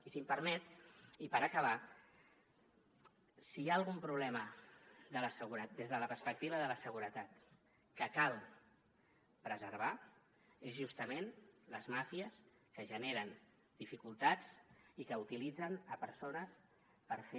i si m’ho permet i per acabar si hi ha algun problema des de la perspectiva de la seguretat que cal preservar és justament les màfies que generen dificultats i que utilitzen persones per fer